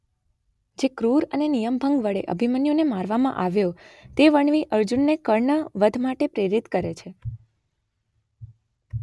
જે ક્રૂર અને નિયમભંગ વડે અભિમન્યુને મારવામાં આવ્યો તે વર્ણવી અર્જુનને કર્ણ વધ માટે પ્રેરિત કરે છે.